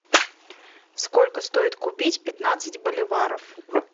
сколько стоит купить пятнадцать боливаров